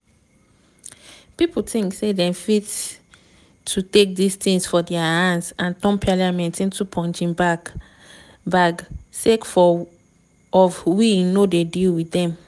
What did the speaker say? "pipo tink say dem fit to take tins for dia hands and turn parliament into punching bag bag sake of we no dey deal wit dem."